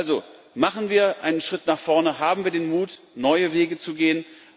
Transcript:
Also Machen wir einen Schritt nach vorne, haben wir den Mut, neue Wege zu gehen!